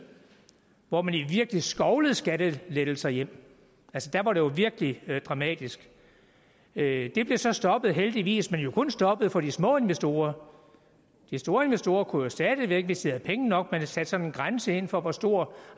hvor man virkelig skovlede skattelettelser hjem altså der var det jo virkelig dramatisk det det blev så stoppet heldigvis men jo kun stoppet for de små investorer de store investorer kunne stadig væk hvis de havde penge nok man satte sådan en grænse ind for hvor stort